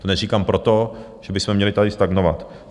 To neříkám proto, že bychom měli tady stagnovat.